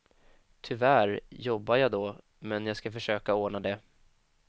Tyvärr jobbar jag då, men jag ska försöka ordna det.